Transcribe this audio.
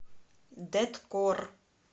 дэткор